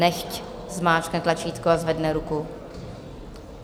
Nechť zmáčkne tlačítko a zvedne ruku.